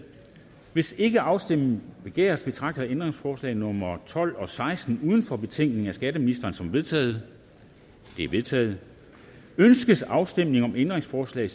hvis ikke afstemning begæres betragter jeg ændringsforslag nummer tolv og seksten uden for betænkningen af skatteministeren som vedtaget de er vedtaget ønskes afstemning om ændringsforslag